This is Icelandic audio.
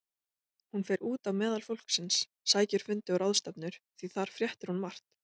Hún fer út á meðal fólksins, sækir fundi og ráðstefnur, því þar fréttir hún margt.